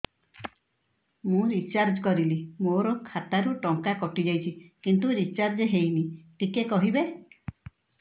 ମୁ ରିଚାର୍ଜ କରିଲି ମୋର ଖାତା ରୁ ଟଙ୍କା କଟି ଯାଇଛି କିନ୍ତୁ ରିଚାର୍ଜ ହେଇନି ଟିକେ କହିବେ